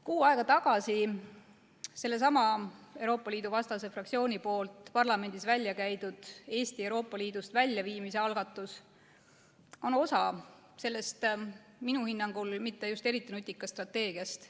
Kuu aega tagasi käis seesama Euroopa Liidu vastane fraktsioon parlamendis välja Eesti Euroopa Liidust väljaviimise algatuse, mis on osa sellest minu hinnangul mitte just eriti nutikast strateegiast.